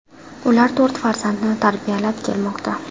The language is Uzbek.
Ular to‘rt farzandni tarbiyalab kelmoqda.